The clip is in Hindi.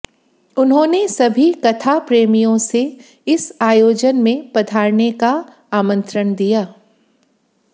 उन्होंने सभी कथाप्रेमियो से इस आयोजन में पधारने का आमंत्रण दिया